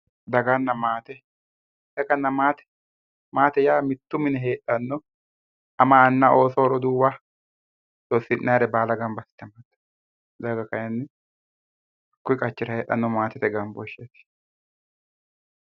Daganna maate, maate yaa mitto mine heedhano ama anna ooso roduuwa lossina'nire baalla gamba assine daga kayinni kui qachira heedhano maatete gambosheti.